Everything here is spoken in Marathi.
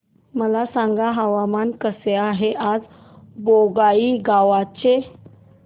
मला सांगा हवामान कसे आहे आज बोंगाईगांव चे